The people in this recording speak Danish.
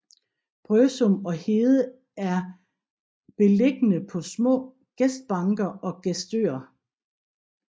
Brøsum og Hede er beilligende på små gestbanker eller gestøer